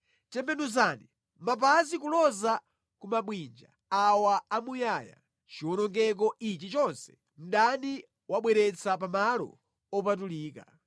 Tembenuzani mapazi kuloza ku mabwinja awa amuyaya chiwonongeko ichi chonse mdani wabweretsa pa malo opatulika.